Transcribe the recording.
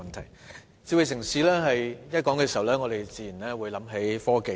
談到"智慧城市"，我們自然會想到科技。